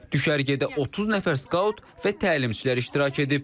Düşərgədə 30 nəfər skaut və təlimçilər iştirak edib.